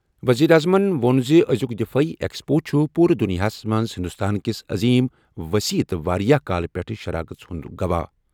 ؤزیٖرِ اعظمن ووٚن زِ أزِیُک دِفٲعی ایکسپو چُھ پوٗرٕ دُنیاہَس منٛز ہِنٛدُستان کِس عظیٖم، وسیع تہٕ واریاہ کالہٕ پیٚٹھٕ شراکٕژ ہُنٛد گواہٕ۔